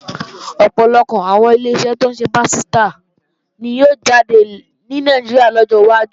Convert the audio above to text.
Ọ̀pọ̀lọpọ̀ àwọn Ileṣẹ́ tó ń ṣe pásítà ni yóò jáde ní Nàìjíríà lọ́jọ́ wájú